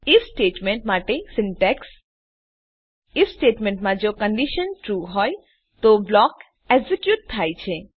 if statement માટે syntax if statement માં જો કંડીશન ટ્રૂ હોય તો બ્લોક એક્ઝેક્યુટ થાય છે